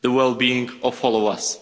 the well-being of all of us.